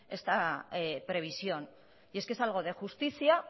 esta previsión y es que es algo de justicia